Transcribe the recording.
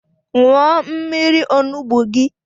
Nwụọ mmiri onugbu gi!